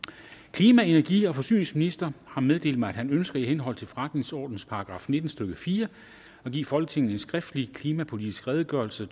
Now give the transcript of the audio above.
klima energi og forsyningsministeren har meddelt mig at han ønsker i henhold til forretningsordenens § nitten stykke fire at give folketinget en skriftlig klimapolitisk redegørelse